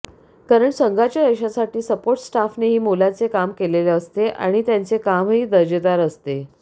कारण संघाच्या यशासाठी सपोर्ट स्टाफनेही मोलाचे काम केलेले असते आणि त्यांचे कामही दर्जेदार असते